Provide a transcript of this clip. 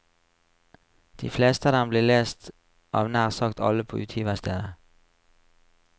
De fleste av dem blir lest av nær sagt alle på utgiverstedet.